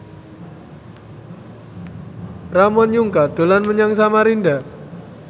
Ramon Yungka dolan menyang Samarinda